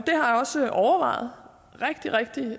også overvejet rigtig rigtig